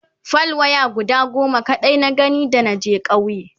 fal waya guda goma kaɗai na gani da naje ƙauye